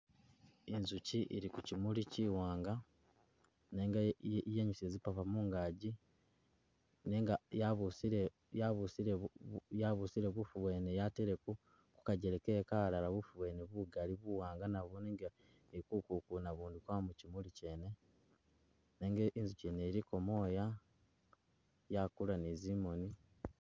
Inzuki ili kuchimuli chiwanga nenga e iyenyusile tsipava mungaji nenga yabusile yabusile bubu, yabusile bufu bwene yatele ku kajele ke kalala bufu bwene bugaali buwanga nabwo nenga ne ku kukuna bundu ubwana mukimuli kyene nenga inzuki nenga inzuki ngene iliko moya yakula ne zimoni.